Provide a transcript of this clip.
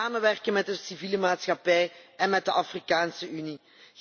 We moeten samenwerken met de civiele maatschappij en met de Afrikaanse Unie.